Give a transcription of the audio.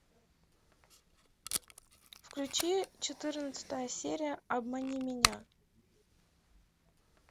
включи четырнадцатая серия обмани меня